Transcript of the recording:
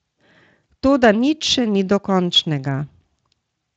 Toda nič še ni dokončnega.